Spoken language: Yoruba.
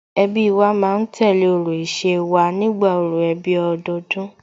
Ẹbí wa ma ń tẹ̀lé orò ìṣe wa nígbà orò ẹbí ọdọọdún